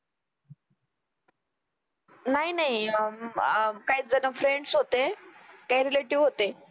नाही नाही अं काहीच काहीजण फ्रेंड्स होते. काही रिलेटिव्ह होते